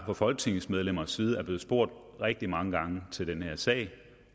fra folketingsmedlemmers side er blevet spurgt rigtig mange gange til den her sag